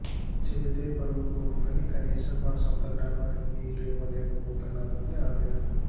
చెబితే పరువు పోతుందని కనీసం మా సొంత గ్రామానికి నీళ్లు ఇవ్వలేకపోతున్నామని అవేదన